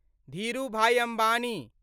Dhirubhai Ambani